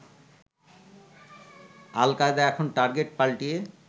আল Qaeda এখন target পাল্টিয়ে